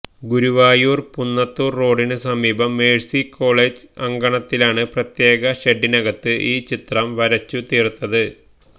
ഗുരുവായൂർ പുന്നത്തൂർ റോഡിനു സമീപം Mercy College അങ്കണത്തിലാണ് പ്രത്യേക ഷെഡിനകത്ത് ഈ ചിത്രം വരച്ചു തീർത്തത്